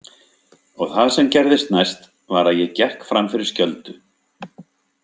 Og það sem gerðist næst var að ég gekk fram fyrir skjöldu.